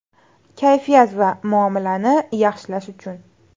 Kayfiyat va muomalani yaxshilash uchun.